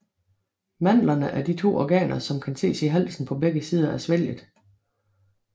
Mandlerne er de to organer som kan ses i halsen på begge sider af svælget